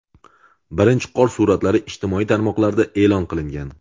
Birinchi qor suratlari ijtimoiy tarmoqlarda e’lon qilingan.